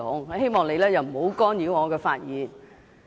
我希望你不要干擾我的發言。